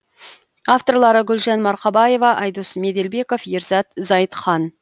авторлары гүлжан марқабаева айдос меделбеков ерзат зайытхан